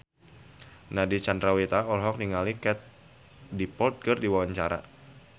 Nadine Chandrawinata olohok ningali Katie Dippold keur diwawancara